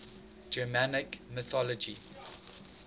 germanic mythology